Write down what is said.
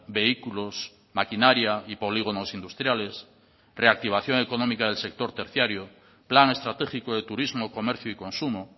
vehículos maquinaria y polígonos industriales reactivación económica del sector terciario plan estratégico de turismo comercio y consumo